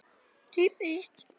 Á sleða.